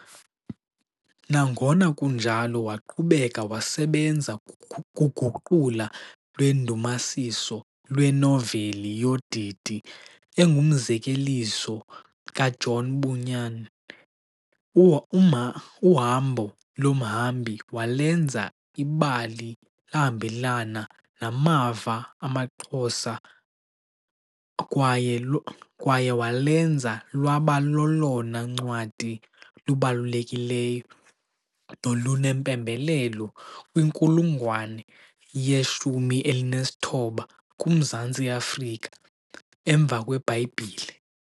Nangona kunjalo, waqhubeka wasebenza kuguqulo lwendumasiso lwenoveli yodidi engumzekeliso kaJohn Bunyan, Uhambo lomhambi, walenza ibali lahambelana namava amaXhosa kwaye walenza lwaba lolona ncwadi lubalulekileyo nolunempembelelo kwinkulungwane ye-19 kuMaZantsi eAfrika emva kweBhayibhile.